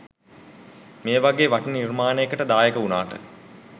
මේ වගේ වටින නිර්මාණයකට දායක වුණාට